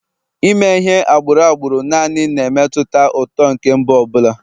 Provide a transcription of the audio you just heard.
Ime ihe agbụrụ agbụrụ naanị na-emetụta uto nke mba ọ bụla